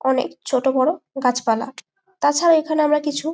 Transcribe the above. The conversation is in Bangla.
অনকে ছোটোবড়ো গাছপালা তাছাড়া এইখানে আমরা কিছু।